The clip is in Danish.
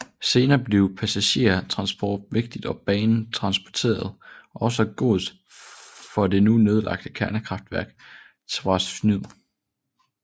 Senere blev passagertransport vigtigt og banen transporterede også gods for det nu nedlagte kernekraftværk Trawsfynydd